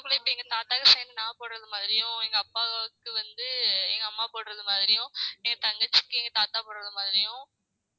இப்ப எங்க தாத்தாவும் சேர்ந்து நான் போடுறது மாதிரியும் எங்க அப்பாவுக்கு வந்து எங்க அம்மா போடுறது மாதிரியும் என் தங்கச்சிக்கு எங்க தாத்தா போடுறது மாதிரியும்